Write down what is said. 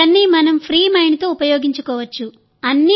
ఇవన్నీ మనం ఫ్రీ మైండ్తో ఉపయోగించుకోవచ్చు